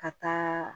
Ka taa